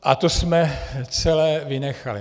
A to jsme celé vynechali.